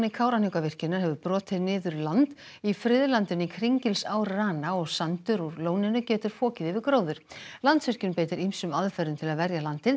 Kárahnjúkavirkjunar hefur brotið niður land í friðlandinu í Kringilsárrana og sandur úr lóninu getur fokið yfir gróður Landsvirkjun beitir ýmsum aðferðum til að verja landið